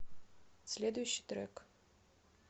следующий трек